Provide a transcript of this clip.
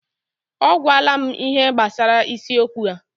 O gwala m ihe gbasara isiokwu a.